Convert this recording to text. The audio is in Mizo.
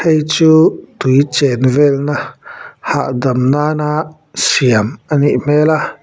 heichu tui chen velna hahdam nana siam anih hmêl a.